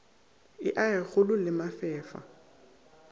e age kgole le mefefa